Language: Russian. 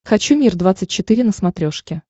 хочу мир двадцать четыре на смотрешке